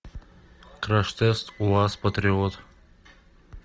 краш тест уаз патриот